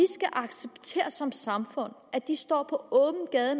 som samfund at de står på åben gade